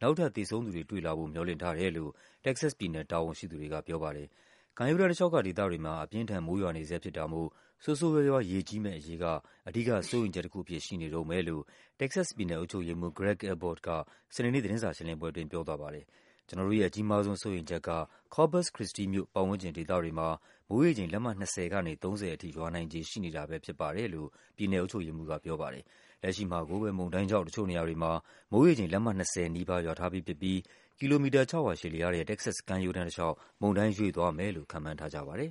နောက်ထပ် သေဆုံးသူတွေ တွေ့လာဖို့် မျှော်လင့်ထားတယ်လို့ တက္ကဆက်စ်ပြည်နယ် တာဝန်ရှိသူတွေကပြောပါတယ်။ ကမ်းရိုးတန်းတလျှောက်က ဒေသတွေမှာ အပြင်းအထန် မိုးရွာနေဆဲဖြစ်တာမို့ ဆိုးဆိုး ရွားရွား ရေကြီးမယ့်အရေးက အဓိကစိုးရိမ် ချက်တခုအဖြစ် ရှိနေတုန်းပဲလို့ တက္ကဆက်စ် ပြည်နယ် အုပ်ချုပ်ရေးမှူး Greg Abbot က စနေနေ့ သတင်းစာရှင်းလင်းပွဲအတွင်း ပြောသွားပါတယ်။ ကျနော်တို့ရဲ့ အကြီးမားဆုံး စိုးရိမ်ချက်က Corpus Christi မြို့ ပတ်ဝန်းကျင်ဒေသတွေမှာ မိုးရေချိန် လက်မ ၂၀ ကနေ ၃၀ အထိ ရွာနိုင်ခြေရှိနေတာပဲ ဖြစ်ပါတယ်လို့ ပြည်နယ်အုပ်ချုပ်ရေးမှူးကပြောပါတယ်။ လက်ရှိမှာကိုပဲ မုန်တိုင်းကြောင့် တချို့နေရာတွေမှာ မိုးရေချိန် လက်မ ၂၀ နီးပါးရွာထားပြီးဖြစ်ပြီး ကီလိုမီတာ ၆၀၀ ရှည်လျားတဲ့ တက္ကဆက်စ် ကမ်းရိုးတန်း တလျှောက် မုန်တိုင်း ရွေ့သွားမယ်လို့ ခန့်မှန်းထားကြပါတယ်